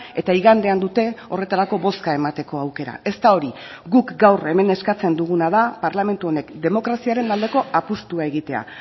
eta igandean dute horretarako bozka emateko aukera ez da hori guk gaur hemen eskatzen duguna da parlamentu honek demokraziaren aldeko apustua egitea